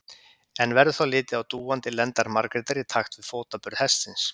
En verður þá litið á dúandi lendar Margrétar í takt við fótaburð hestsins.